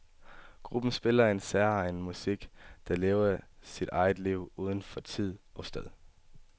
Gruppen spiller en særegen musik, der lever sit eget liv uden for tid og sted.